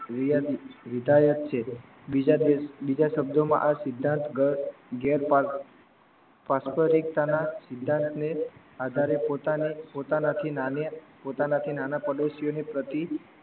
વિધાયક છે બીજા શબ્દમાં આ સિદ્ધાંત ઘેર પાસપરિક્તા ના સિદ્ધાંત ને આધારે પોતાના થી નાના પડોસી ની પ્રતિ